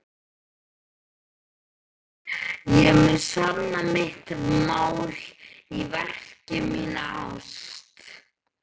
Ég mun sanna mitt mál í verki, mína ást.